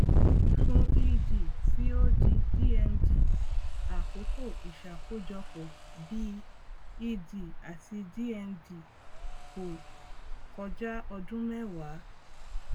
fún ed tí ó di dmd àkókò ìṣákojọpọ bí ed àti dmd kò kọjá ọdún mẹwàá